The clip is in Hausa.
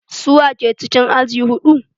Su wa ke cikin aji huɗu?